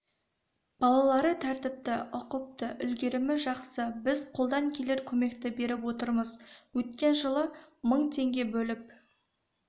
балалары тәртіпті ұқыпты үлгерімі жақсы біз қолдан келер көмекті беріп отырмыз өткен жылы мың теңге бөліп